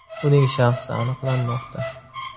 Uning shaxsi aniqlanmoqda.